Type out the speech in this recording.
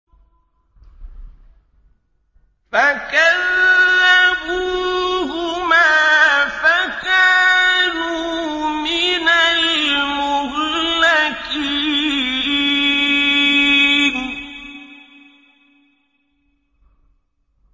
فَكَذَّبُوهُمَا فَكَانُوا مِنَ الْمُهْلَكِينَ